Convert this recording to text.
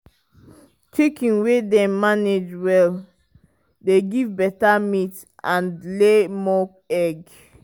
chicken wey dem manage well dey give better meat and lay more egg.